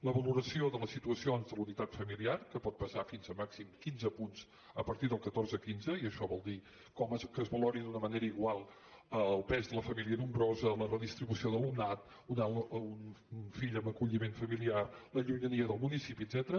la valoració de les situacions de la unitat familiar que pot pesar fins a màxim quinze punts a partir del catorze quinze i això vol dir que es valori d’una manera igual el pes de la família nombrosa la redistribució d’alumnat un fill amb acolliment familiar la llunyania del municipi etcètera